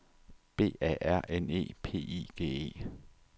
B A R N E P I G E